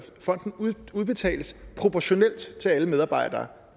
fonden udbetales proportionalt til alle medarbejdere